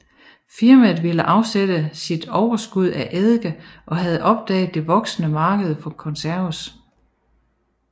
Firmaet ville afsætte sit overskud af eddike og havde opdaget det voksende marked for konserves